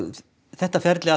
þetta ferli